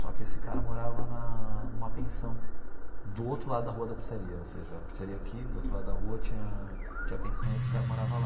Só que esse cara morava na numa pensão do outro lado da rua da pizzaria, ou seja, a pizzaria aqui do outro lado da rua tinha tinha pensão e esse cara morava lá.